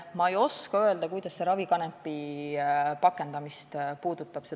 Ma ei oska öelda, kuidas see turvaelementide teema ravikanepi pakendamist puudutab.